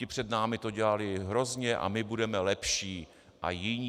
Ti před námi to dělali hrozně a my budeme lepší a jiní.